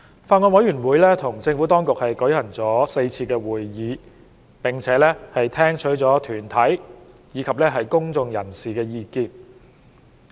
法案委員會與政府當局舉行了4次會議，並聽取了團體及公眾人士的意見。